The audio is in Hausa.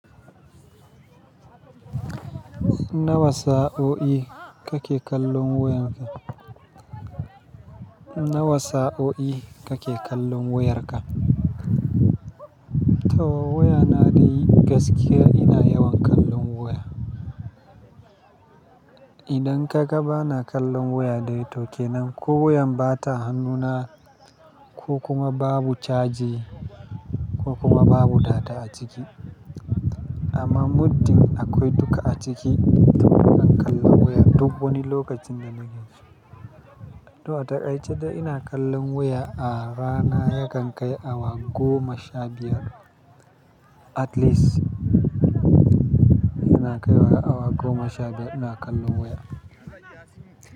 Nawa sa'o'i kake kallon wayarka? Nawa sa'o'i kake kallon wayarka? Tow wayana dai gaskiya ina yawan kallon waya. Idan ka ga bana kallon waya dai tokkenan, ko wayan bata hannuna ko kuma babu caji ko kuma babu data a ciki. Amma muddin akwai duka a ciki, taba in kalla waya duk wani lokacin da nake so. To a taƙai, jiya ina kallon waya a rana ya kan kai awa goma sha biyar at least. Ina kaiwa awa goma sha biyar ina kallon waya.